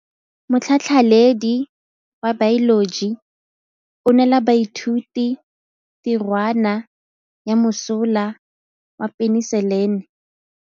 Motlhatlhaledi wa baeloji o neela baithuti tirwana ya mosola wa peniselene.